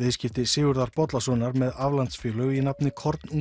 viðskipti Sigurðar Bollasonar með aflandsfélög í nafni